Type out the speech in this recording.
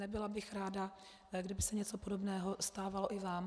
Nebyla bych ráda, kdyby se něco podobného stávalo i vám.